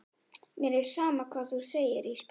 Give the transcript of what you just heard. Mér er sama hvað þú segir Ísbjörg.